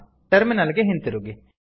terminal ಗೆ ಹಿಂತಿರುಗಿ